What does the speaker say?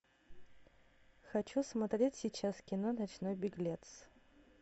хочу смотреть сейчас кино ночной беглец